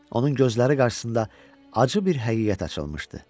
Onun gözləri qarşısında acı bir həqiqət açılmışdı.